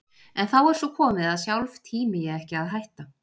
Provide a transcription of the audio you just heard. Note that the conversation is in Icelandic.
En þá er svo komið að sjálf tími ég ekki að hætta.